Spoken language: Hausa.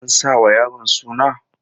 An sanya wa yaron suna?